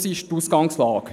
Das ist die Ausgangslage.